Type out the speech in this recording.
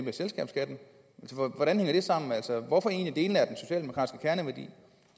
af selskabsskatten hvordan hænger det sammen altså hvilken